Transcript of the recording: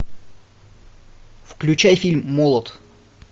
включай фильм молот